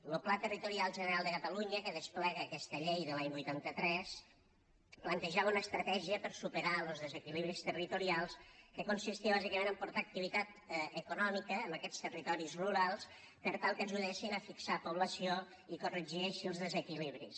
lo pla territorial general de catalunya que desplega aquesta llei de l’any vuitanta tres plantejava una estratègia per superar los desequilibris territorials que consistia bàsicament en portar activitat econòmica a aquests territoris rurals per tal que ajudessin a fixar població i corregir així els desequilibris